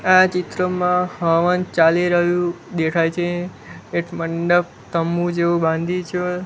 આ ચિત્રમાં હવન ચાલી રહ્યુ દેખાય છે એક મંડપ તંબુ જેવુ બાંધી છે.